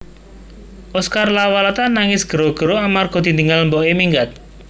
Oscar Lawalata nangis gero gero amarga ditinggal mbok e minggat